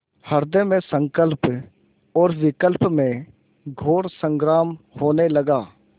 हृदय में संकल्प और विकल्प में घोर संग्राम होने लगा